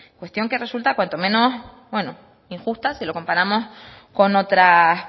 cuestión que resulta cuanto menos bueno injusta si lo comparamos con otras